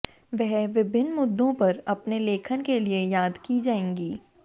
वह विभिन्न मुद्दों पर अपने लेखन के लिए याद की जाएंगी